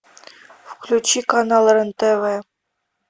включи канал рен тв